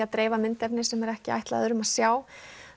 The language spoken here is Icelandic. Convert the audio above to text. að dreifa myndefni sem er ekki ætlað öðrum að sjá